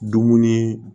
Dumuni